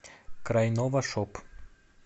крайновашоп